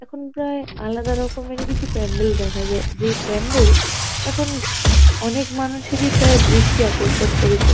এখন প্রায় আলাদা রকমেরই কিছু প্যান্ডেল দেখা যায়। যেই প্যান্ডেল এখন অনেক মানুষেরই প্রায় দৃষ্টি আকর্ষণ করেছে ।